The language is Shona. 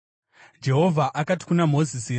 Jehovha akati kuna Mozisi,